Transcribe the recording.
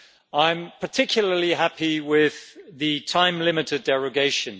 I'm particularly happy with the time limited derogation.